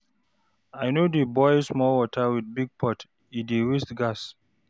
I no dey boil small water with big pot, e dey waste gas.